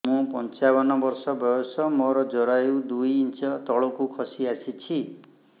ମୁଁ ପଞ୍ଚାବନ ବର୍ଷ ବୟସ ମୋର ଜରାୟୁ ଦୁଇ ଇଞ୍ଚ ତଳକୁ ଖସି ଆସିଛି